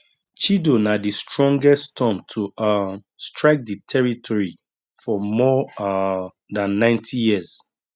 chido na di strongest storm to um strike di territory for more um dan 90 years